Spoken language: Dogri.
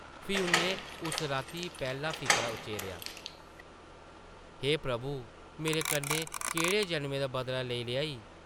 फ्ही उʼन्नै उस राती पैह्ला फिकरा उच्चरेआ, ‘‘हे प्रभु! मेरे कन्नै केह्ड़े जन्में दा बदला लेआ ई? ’’